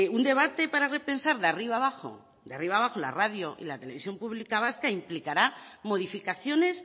un debate para repensar de arriba abajo la radio y la televisión pública vasca implicará modificaciones